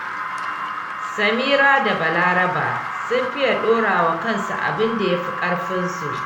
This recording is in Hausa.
Samira da Balaraba sun fiye dorawa kansu abinda yafi ƙarfinsu